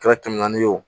Kɛra kɛmɛ naani ye o